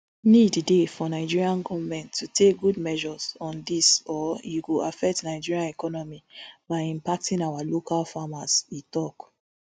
need dey for nigerian goment to take good measures on dis or e go affect nigerian economy by impacting our local farmers e tok